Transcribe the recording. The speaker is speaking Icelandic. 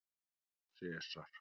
Sesar